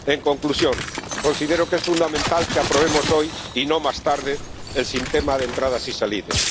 En conclusión, considero que es fundamental que aprobemos hoy y no más tarde el Sistema de Entradas y Salidas.